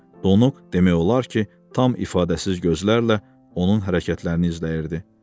Donuq, demək olar ki, tam ifadəsiz gözlərlə onun hərəkətlərini izləyirdi.